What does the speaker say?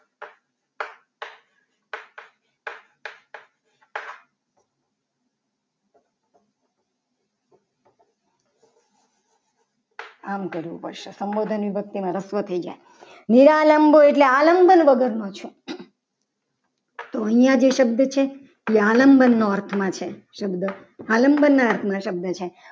આમ કરવું પડશે. સંબોધનની અંદર રસ્વઉ થઈ જશે નિરાલંબો એટલે આલંબન વગરનો છે. તો અહીંયા જે શબ્દો છે. એ આલમ બોના અર્થમાં છે. શબ્દ આલંબના અર્થમાં શબ્દ છે.